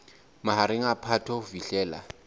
mahareng a phato ho fihlela